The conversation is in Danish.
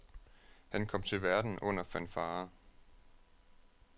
Han kom til verden under fanfarer.